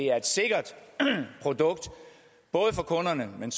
er et sikkert produkt for kunderne men